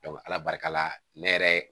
ala barika la ne yɛrɛ